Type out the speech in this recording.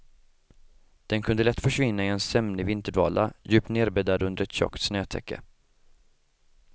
Den kunde lätt försvinna i en sömnig vinterdvala, djupt nedbäddad under ett tjockt snötäcke.